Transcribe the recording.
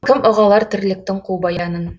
кім ұға алар тірліктің қу баянын